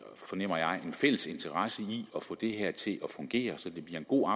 fornemmer jeg en fælles interesse i at få det her til at fungere så det bliver en god